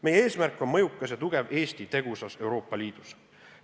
Meie eesmärk on mõjukas ja tugev Eesti tegusas Euroopa Liidus.